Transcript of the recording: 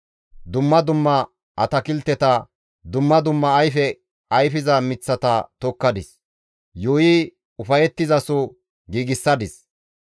Dumma dumma atakilteta, dumma dumma ayfe ayfiza miththata tokkadis; yuuyi ufayettizaso giigsadis.